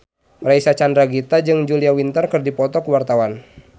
Reysa Chandragitta jeung Julia Winter keur dipoto ku wartawan